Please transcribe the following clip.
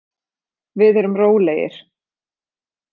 Við erum rólegir.